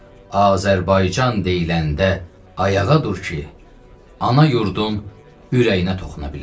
Azərbaycan deyiləndə ayağa dur ki, ana yurdun ürəyinə toxuna bilər.